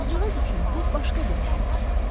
Qızcığaz üçün bu başqa bir həyat idi.